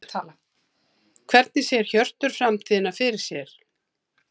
Hvernig sér Hjörtur framtíðina fyrir sér?